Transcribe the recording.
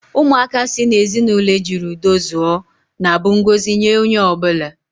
Ụmụaka si n'ezinụlọ ejiri udo zụọ na-abụ ngọzi nye onye ọ bụla.